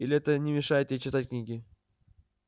или это не мешает ей читать книги